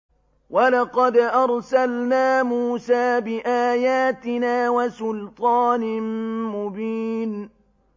وَلَقَدْ أَرْسَلْنَا مُوسَىٰ بِآيَاتِنَا وَسُلْطَانٍ مُّبِينٍ